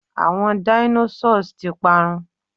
àwọn Dinosaurs ti parun